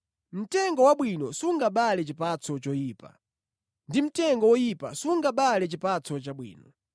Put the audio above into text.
Mtengo wabwino sungabale chipatso choyipa, ndi mtengo woyipa sungabale chipatso chabwino.